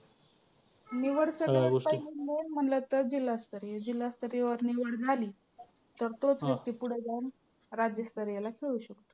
निवड सगळ्यात पहिली main म्हंटल तर जिल्हास्तरीय. जिल्हास्तरीयवर निवड झाली तर तोच व्यक्ती पुढं जाऊन राज्यस्तरीयला खेळू शकतो.